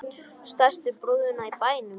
Stærstu brúðuna í bænum.